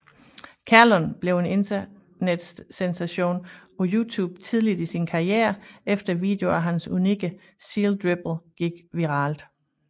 Kerlon blev en internetsensation på YouTube tidligt i sin karriere efter videoer af hans unikke Seal Dribble gik viralt